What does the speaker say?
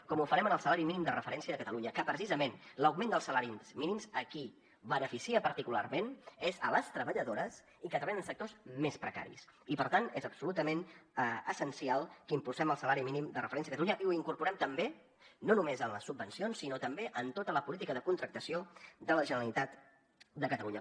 com ho farem en el salari mínim de referència de catalunya que precisament l’augment dels salaris mínims a qui beneficia particularment és a les treballadores que treballen en sectors més precaris i per tant és absolutament essencial que impulsem el salari mínim de referència a catalunya i ho incorporem també no només en les subvencions sinó també en tota la política de contractació de la generalitat de catalunya